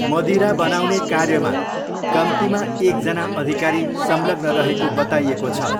मदिरा बनाउने कार्यमा कम्तीमा एकजना अधिकारी संलग्न रहेको बताइएको छ।